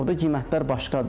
Orda qiymətlər başqadır.